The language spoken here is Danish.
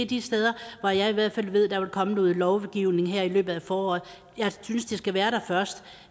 de steder hvor jeg i hvert fald ved der vil komme noget lovgivning her i løbet af foråret jeg synes at det skal være der først